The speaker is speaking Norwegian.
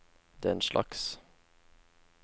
denslags